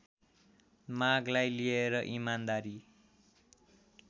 मागलाई लिएर इमानदारी